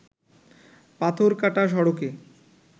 পাথর কাটা সড়কে